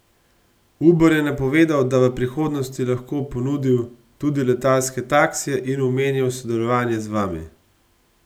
Uber je napovedal, da bi v prihodnosti lahko ponudil tudi letalske taksije, in omenjal sodelovanje z vami.